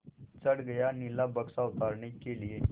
चढ़ गया नीला बक्सा उतारने के लिए